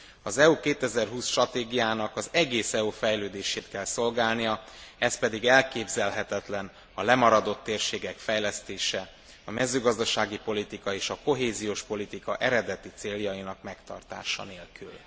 Az EU 2020 stratégiának az egész EU fejlődését kell szolgálnia, ez pedig elképzelhetetlen a lemaradott térségek fejlesztése, a mezőgazdasági politika és a kohéziós politika eredeti céljainak megtartása nélkül.